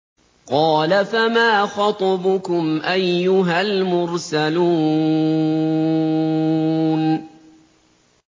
قَالَ فَمَا خَطْبُكُمْ أَيُّهَا الْمُرْسَلُونَ